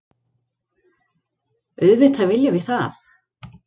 Auðvitað viljum við það.